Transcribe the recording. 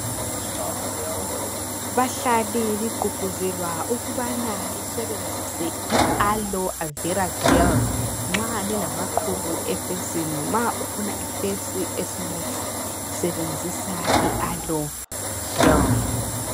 Bahlali ligqugquzelwa ukubana lisebenzise i-alovera jell nxa lilamaqhubu ebusweni kumbe nxa ufuna ubuso obutshelelayo sebenzisa i-alovera jell.